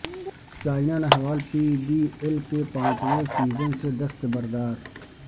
Saina Nehwal P B L کے پانچویں season سے دستبردار